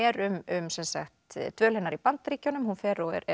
um dvöl hennar í Bandaríkjunum hún fer og er